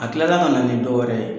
A kilala ka na ni dɔwɛrɛ ye.